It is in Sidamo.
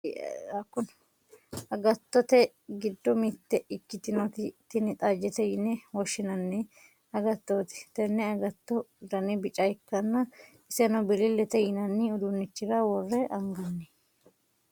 agattote giddo mitte ikkitinoti tini xajjete yine woshshinanni agattooti, tenne agattoo dani bica ikkanna, iseno bilillete yinanni uduunnichira worre anganni.